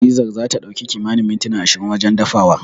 Fizar zata ɗauki kimanin mintuna ashirin wajen dafawa.